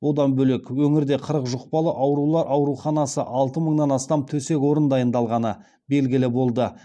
одан бөлек өңірде қырық жұқпалы аурулар ауруханасы алты мыңнан астам төсек орын дайындалғаны белгілі болды